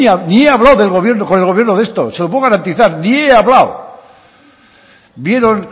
ni he hablado con el gobierno de esto se lo puedo garantizar ni he hablado vieron